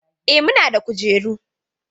Eh, muna da kujeru.